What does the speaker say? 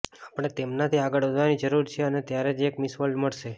આપણે તેમનાથી આગળ વધવાની જરૂર છે અને ત્યારે જ એક મિસ વર્લ્ડ મળશે